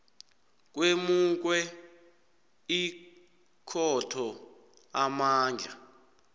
kwemukwe ikhotho amandla